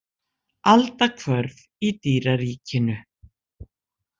Aldahvörf í dýraríkinu.